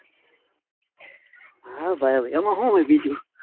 હા ભાઈ હવે એમા હું હોય બીજુ.